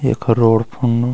यख रोड फुनु।